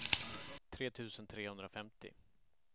tre tusen trehundrafemtio